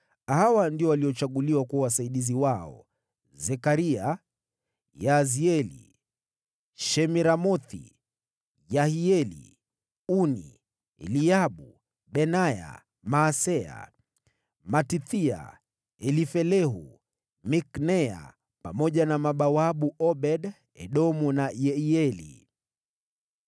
hawa ndio waliochaguliwa kuwa wasaidizi wao: Zekaria, Yaazieli, Shemiramothi, Yehieli, Uni, Eliabu, Benaya, Maaseya, Matithia, Elifelehu, Mikneya, pamoja na mabawabu Obed-Edomu na Yehieli.